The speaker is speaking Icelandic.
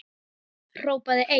Hrópaði einn